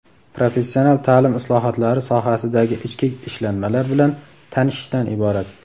professional taʼlim islohotlari sohasidagi ichki ishlanmalar bilan tanishishdan iborat.